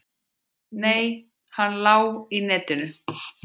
Nei, hann lá í netinu.